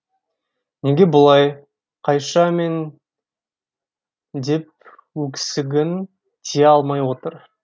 неге бұлай қайша мен деп өксігін тия алмай отыр